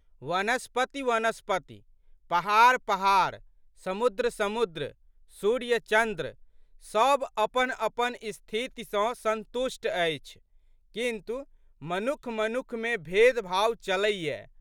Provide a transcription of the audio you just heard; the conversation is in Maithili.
वनस्पतिवनस्पति, पहाड़पहाड़, समुद्दसमुद्र, सूर्य.चन्द्र सब अपनअपन स्थिति सँ संतुष्ट अछि किन्तु, मनुखमनुखमे भेदभाव चलैये।